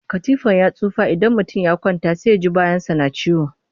Katifar ta tsufa idan mutum ya kwanta sai ya ci bayansa yana ciwo